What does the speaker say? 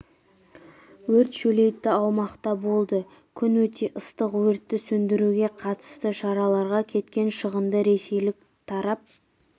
өрт шөлейтті аумақта болды күн өте ыстық өртті сөндіруге қатысты шараларға кеткен шығынды ресейлік тарап